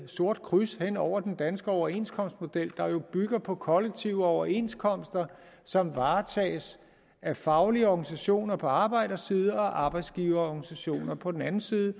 sort kryds hen over den danske overenskomstmodel der jo bygger på kollektive overenskomster som varetages af faglige organisationer på arbejderside og arbejdsgiverorganisationer på den anden side